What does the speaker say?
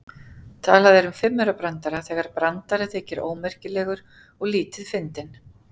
Talað er um fimmaurabrandara þegar brandari þykir ómerkilegur og lítið fyndinn.